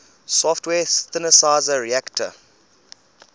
software synthesizer reaktor